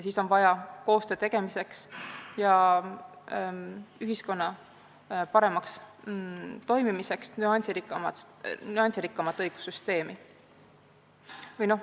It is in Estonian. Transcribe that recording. Siis on vaja koostöö tegemiseks ja ühiskonna paremaks toimimiseks nüansirikkamat õigussüsteemi.